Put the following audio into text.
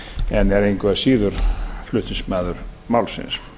en er engu að síður flutningsmaður málsins